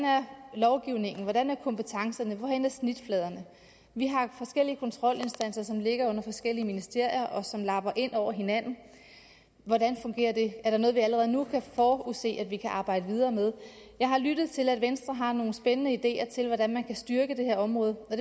lovgivningen hvordan er kompetencerne hvorhenne er snitfladerne vi har forskellige kontrolinstanser som ligger under forskellige ministerier og som lapper ind over hinanden hvordan fungerer det er der noget vi allerede nu kan forudse at vi kan arbejde videre med jeg har lyttet til at venstre har nogle spændende ideer til hvordan man kan styrke det her område og